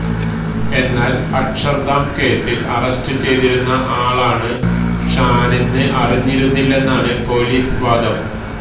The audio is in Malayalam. എന്നാല് അക്ഷര്ധാം കേസില് അറസ്റ്റ് ചെയ്തിരുന്ന ആളാണ് ഷാനെന്ന് അറിഞ്ഞിരുന്നില്ലെന്നാണ് പൊലീസ് വാദം